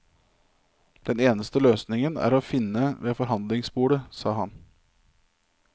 Den eneste løsningen er å finne ved forhandlingsbordet, sa han.